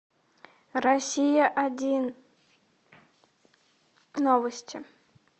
россия один новости